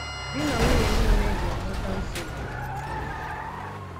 Di na nwunye niile ga-enweta nsogbu n’ụzọ ụfọdụ.